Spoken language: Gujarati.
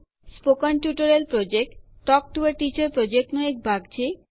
spoken tutorial project talk to a teacher પ્રોજેક્ટનો એક ભાગ છે